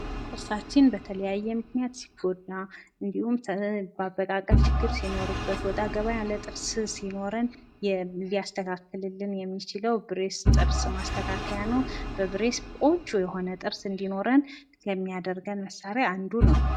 ጥርሳችን በተለያየ ምክንያት ሲጎዳ ፣ የአበቃቀል ችግር ሲኖርበት እና ወጣ ገባ ያለ ጥርስ ሲኖረን ሊያስተካክልልን የሚችለው ብሬስ ጥርስ ማስተካከያ ሲሆን፤ ብሬስ ቆንጆ የሆነ ጥርስ እንዲኖረን የሚያደርግ መሳሪያ ነው።